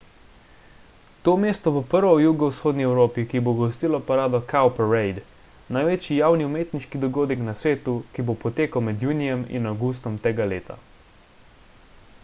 to mesto bo prvo v jugovzhodni evropi ki bo gostilo parado cowparade največji javni umetniški dogodek na svetu ki bo potekal med junijem in avgustom tega leta